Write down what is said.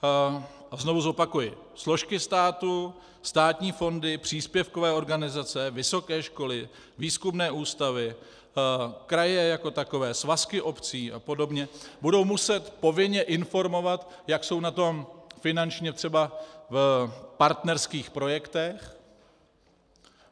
A znovu zopakuji: složky státu, státní fondy, příspěvkové organizace, vysoké školy, výzkumné ústavy, kraje jako takové, svazky obcí a podobně budou muset povinně informovat, jak jsou na tom finančně třeba v partnerských projektech.